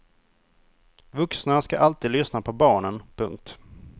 Vuxna ska alltid lyssna på barnen. punkt